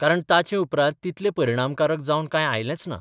कारण ताचे उपरांत तितलें परिणामकारक जावन कांय आयलेंच ना.